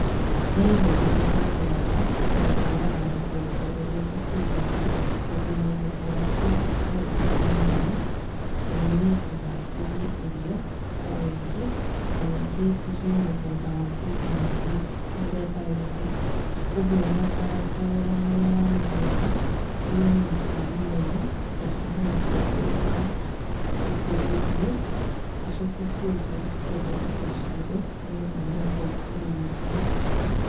Niĩ nĩniĩ njagũraga mũigana wa mũgũnda ũrĩa ngũkũria irio, tondũ mũgũnda wakwa wothe timũnene na nĩnendaga ngũrie irio kwa wĩingĩ, nanyingĩ ndigie mũgũnda wakũiga mahiũ mĩthemba yothe. ũgwo nyambaga ngarora mwena wa mũgũnda ũrĩa wĩna tĩĩri mwega, ngacagũra ũrĩ wagũkũria irio. Ngacoka ũcio ũngĩ ngathondeka ciugũ nĩgetha nyone gwakũiga mahiũ.